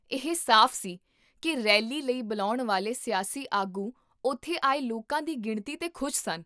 ਇਹ ਸਾਫ਼ ਸੀ ਕੀ ਰੈਲੀ ਲਈ ਬੁਲਾਉਣ ਵਾਲੇ ਸਿਆਸੀ ਆਗੂ ਉੱਥੇ ਆਏ ਲੋਕਾਂ ਦੀ ਗਿਣਤੀ 'ਤੇ ਖੁਸ਼ ਸਨ